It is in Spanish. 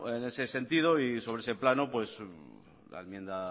en ese sentido sobre ese plano la enmienda